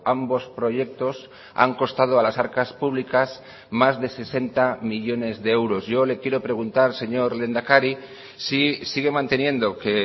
ambos proyectos han costado a las arcas públicas más de sesenta millónes de euros yo le quiero preguntar señor lehendakari si sigue manteniendo que